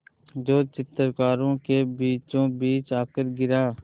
जो चित्रकारों के बीचोंबीच आकर गिरा